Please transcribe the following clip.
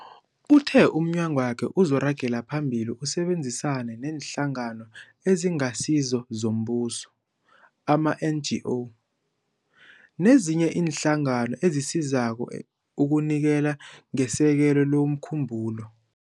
Uthe umnyagwakhe uzoragela phambili usebenzisane neeNhlangano eziNgasizo zoMbuso ama-NGO, nezinye iinhlangano ezisizako ukunikela ngesekelo lomkhumbulo.